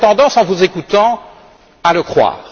On aurait tendance, en vous écoutant, à le croire.